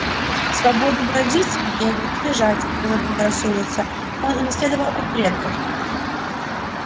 свободу бродить бегать лежать когда заблагорассудится он унаследовал от предков